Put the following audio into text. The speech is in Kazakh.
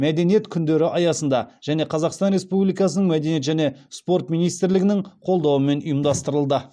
мәдениет күндері аясында және қазақстан республикасының мәдениет және спорт министрлігінің қолдауымен ұйымдастырылды